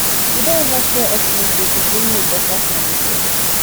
you don ever share expenses with roommate or partner before